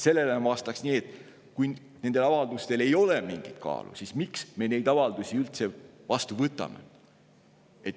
Sellele ma vastaks nii, et kui nendel avaldustel ei ole mingit kaalu, miks me neid siis üldse vastu võtame.